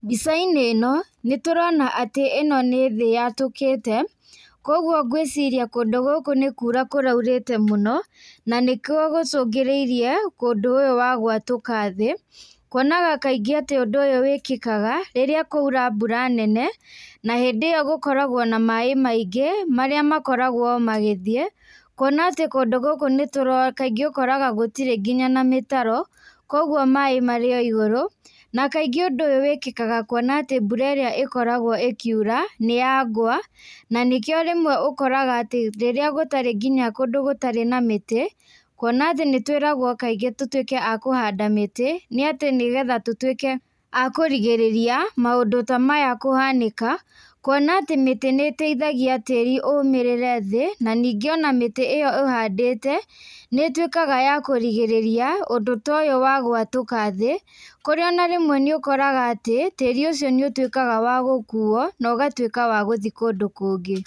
Mbica-inĩ ĩno nĩtũrona atĩ, ĩno nĩ thĩ yatũkĩte koguo ngwĩciria kũndũ gũkũ nĩ kuura kũraurĩte mũno, na nĩkuo gũcũngĩrĩirie kũndũ ũyu wa gwatũka thĩĩ, kũonaga kaingĩ atĩ ũndũ ũyũ wĩkĩkaga rĩrĩa kwaura mbura nene, na hĩndĩ ĩyo gũkoragwo na maaĩ maingĩ marĩa makoragwo o magĩthie, kuona atĩ kũndũ gũkũ kaingĩ ukoraga gũtĩre nginya na mĩtaro, koguo maaĩ marĩ o igũrũ, na kaingĩ ũndũ ũyũ wĩkĩkaga kuona atĩ mbura ĩrĩa ĩkoragwo ĩkiura nĩ ya ngwa na nĩkĩo rĩmwe ũkoraga atĩ rĩrĩa gũtari nginya kũndũ gũtarĩ na mĩtĩ kuona atĩ nĩtwĩragwo kaingĩ tũtuĩke a kũhanda mĩtĩ nĩ atĩ nĩgetha tũtuĩke a kũrigĩrĩria maũndũ ta maya kũhanĩka kuona atĩ mĩtĩ nĩĩteithathagia tĩri ũũmĩrĩre thĩĩ, na ningĩ ona mĩtĩ ĩyo uhandĩte, nĩĩtwĩkaga ya kũrigĩrĩria ũndũ to ũyũ wa gwatũka thĩĩ, kũrĩa ona rĩmwe niũkoraga atĩ, tĩĩri ũcio nĩũtuikaga wa gũkuo nauũgatuĩka wa gũthiĩ kũndũ kũngĩ.